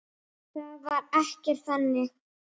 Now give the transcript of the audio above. Það var ekkert þannig.